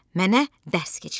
Mənə dərs keçirdi.